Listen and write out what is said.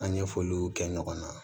An ye fɔliw kɛ ɲɔgɔn na